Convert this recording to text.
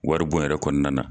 Wari bon yɛrɛ kɔnɔnanan na